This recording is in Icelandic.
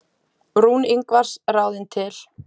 Rún Ingvars ráðin til.